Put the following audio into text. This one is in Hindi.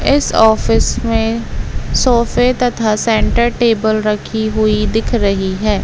इस ऑफिस में सोफे तथा सेन्टर टेबल रखी हुई दिख रही है।